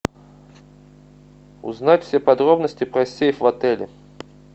узнать все подробности про сейф в отеле